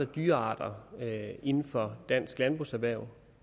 dyrearter inden for dansk landbrugserhverv